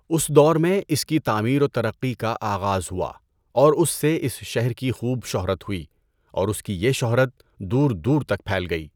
اس دور میں اس کی تعمیر و ترقی کا آغاز ہوا اور اس سے اس شہر کی خوب شہرت ہوٸی اور اس کی یہ شہرت دور دور تک پھیل گئی۔